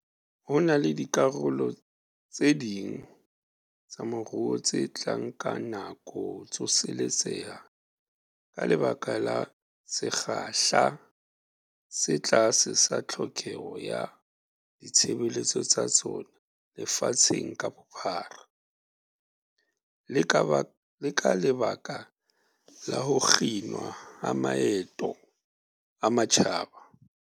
Ho na le dikarolo tse ding tsa moruo tse tla nka nako ho tsoseletseha ka lebaka la sekgahla se tlase sa tlhokeho ya ditshebeletso tsa tsona lefatsheng ka bophara, le ka lebaka la ho kginwa ha maeto a matjhaba.